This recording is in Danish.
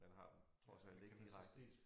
Man trods alt ikke direkte